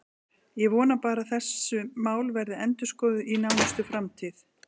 Ég vona bara að þessi mál verði endurskoðuð í nánustu framtíð.